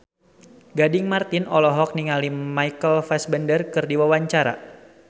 Gading Marten olohok ningali Michael Fassbender keur diwawancara